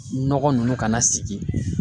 Nɔgɔ ninnu kana sigi.